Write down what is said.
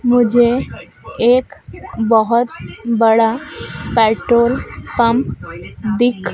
मुझे एक बहोत बड़ा पेट्रोल पंप दिख--